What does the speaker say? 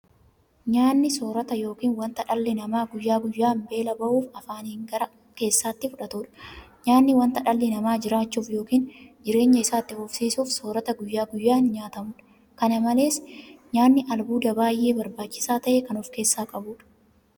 Nyaanni soorata yookiin wanta dhalli namaa guyyaa guyyaan beela ba'uuf afaaniin gara keessaatti fudhatudha. Nyaanni wanta dhalli namaa jiraachuuf yookiin jireenya isaa itti fufsiisuuf soorata guyyaa guyyaan nyaatamudha. Kana malees nyaanni albuuda baay'ee barbaachisaa ta'e kan ofkeessaa qabudha.